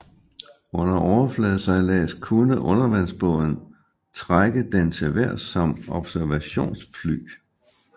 Under overfladesejlads kunne undervandsbåden trække den til vejrs som observationsfly